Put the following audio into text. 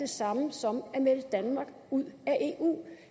samme som at melde danmark ud af eu